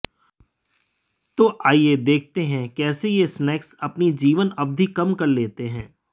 तो आइए देखते हैं कैसे ये स्नेक्स अपनी जीवन अवधि कम कर लेते हैं